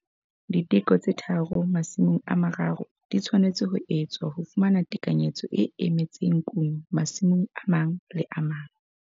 Diteko tse tharo masimong a mararo di tshwanetse ho etswa ho fumana tekanyetso e emetseng kuno masimong a le mang le a mang.